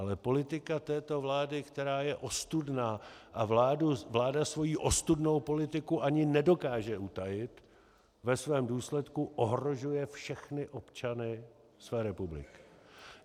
Ale politika této vlády, která je ostudná a vláda svoji ostudnou politiku ani nedokáže utajit, ve svém důsledku ohrožuje všechny občany své republiky.